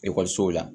Ekɔlisow la